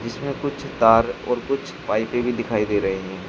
इसमें कुछ तार और कुछ पाइपें भी दिखाई दे रही हैं।